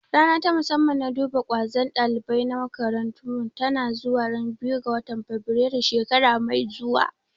Rana ta musamman na duba ƙwazon ɗalibai na makarantar mu tana zuwa ran biyu ga fabirailu shekara mai zuwa